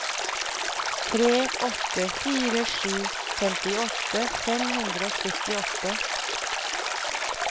tre åtte fire sju femtiåtte fem hundre og syttiåtte